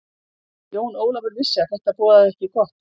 Jón Ólafur vissi að þetta boðaði ekki gott.